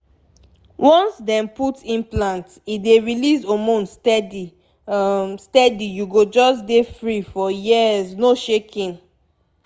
once dem put implant e dey release hormone steady um steady u go just dey free for years no shaking!